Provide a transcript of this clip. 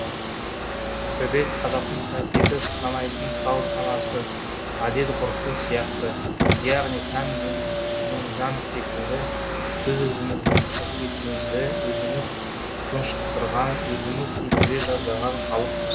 төбет қазақтың қасиетті санайтын салт санасы әдет ғұрпы сияқты яғни тән мен жан секілді біз өзіміздің қасиеттімізді өзіміз тұншықтырған өзіміз өлтіре жаздаған халықпыз